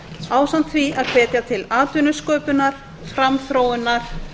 ásamt því að hvetja til atvinnusköpunar framþróunar